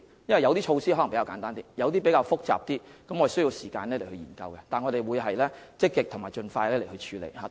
有些措施可能比較簡單，有些則比較複雜，我們需要時間研究，但我們會積極和盡快處理。